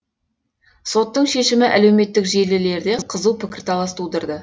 соттың шешімі әлеуметтік желілерде қызу пікірталас тудырды